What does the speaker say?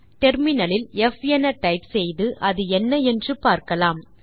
terminal இல் ப் என டைப் செய்து அது என்ன என்று பாக்கலாம்